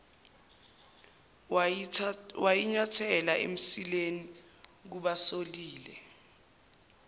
wayinyathela emsileni kubasolile